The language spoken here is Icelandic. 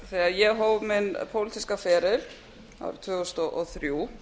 þegar ég hóf minni pólitíska feril árið tvö þúsund og þrjú